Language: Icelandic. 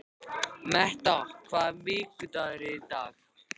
Metta, hvaða vikudagur er í dag?